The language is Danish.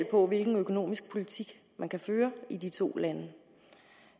på hvilken økonomisk politik man kan føre i de to lande det